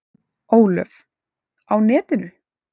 Ólöf: Á netinu?